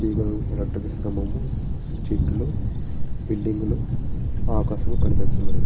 తీగలు ఎలక్ట్రిక్ స్తంభము. చెట్లు బిల్డింగు లు ఆకాశము కనిపిస్తున్నవి.